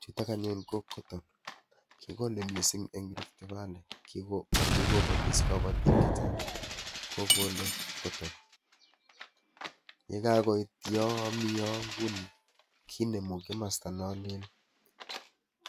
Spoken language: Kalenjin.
Chutoo aany anyuun ko Kobel kikolee missing en Riftvalley kikobatis kabatiik chechaang ko kole Kobel ye kakobiit yaan Mii kinemuu komostaa naan leel